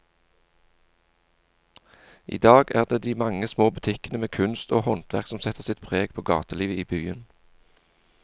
I dag er det de mange små butikkene med kunst og håndverk som setter sitt preg på gatelivet i byen.